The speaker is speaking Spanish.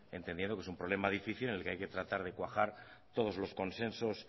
entendiendo que es un problema difícil en el que hay que tratar de cuajar todos los consensos